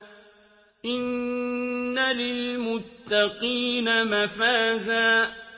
إِنَّ لِلْمُتَّقِينَ مَفَازًا